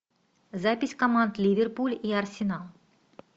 запись команд ливерпуль и арсенал